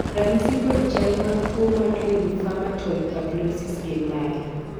ranyisi kod chal mag tuo mar lymphomatoid papulosis gin mage?